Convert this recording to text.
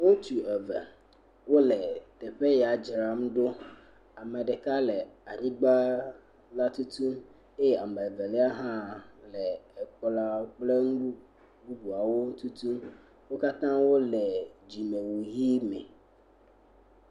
Ŋutsu eve wole teƒe ya dzram ɖo. Ame ɖeka le anyigba la tutu eye ame evelia hã le ekplɔawo kple nu bubuawo ŋu tutum. Wo katã wole dzimewu ʋe me.